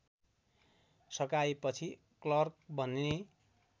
सकाएपछि clerk बन्ने